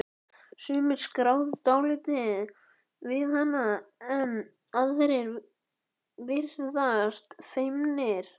Sumir skrafa dálítið við hana en aðrir virðast feimnir.